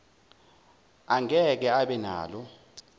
angeke abe nalo